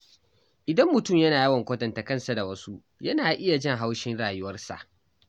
Idan mutum yana yawan kwatanta kansa da wasu, yana iya jin haushin rayuwarsa.